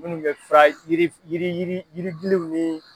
Minnu bɛ fara yiri yiri yiri yiribuluw ni